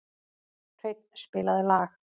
Hreinn, spilaðu lag.